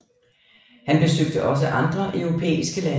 Han besøgte også andre europæiske lande